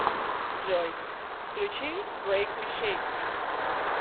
джой включи брэйк ми шэйк ми